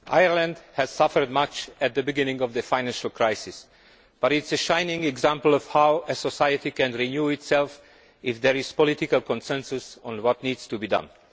Mr President, Ireland suffered much at the beginning of the financial crisis but it is a shining example of how a society can renew itself if there is political consensus on what needs to be done.